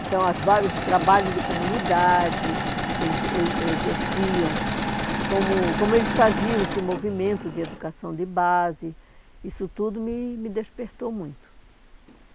Então, os vários trabalhos de comunidade que eles eles exerciam, como como eles faziam esse movimento de educação de base, isso tudo me me despertou muito.